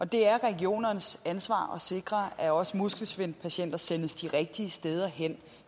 det er regionernes ansvar at sikre at også muskelsvindpatienter sendes de rigtige steder hen